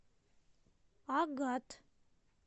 агат